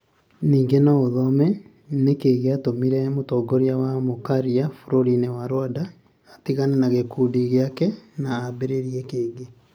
Ningĩ no ũthome: Nĩ kĩĩ gĩatũmire mũtongoria wa mũkararia bũrũri-inĩ wa Rwanda atigane na gĩkundi gĩake na ambĩrĩrie kĩngĩ?